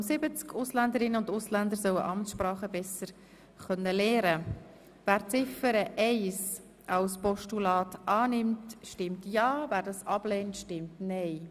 Wer Ziffer 1 des Postulats annimmt, stimmt ja, wer diese ablehnt, stimmt nein.